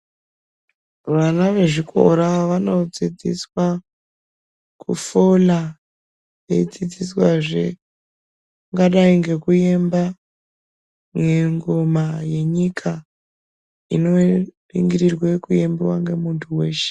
Vana ve chikora vano dzidziswa kufula eyi dzidziswa zvee kungadai ngeku emba ngoma ye nyika ino ningirirwe ku embiwa nge muntu weshe.